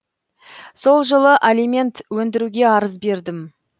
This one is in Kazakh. сол жылы алимент өндіруге арыз бердім